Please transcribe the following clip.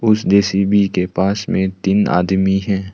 उस जे_सी_बी के पास में तीन आदमी है।